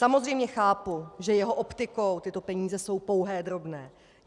Samozřejmě chápu, že jeho optikou tyto peníze jsou pouhé drobné.